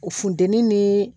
O funtɛni ni